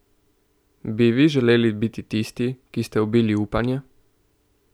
Bi vi želeli biti tisti, ki ste ubili upanje?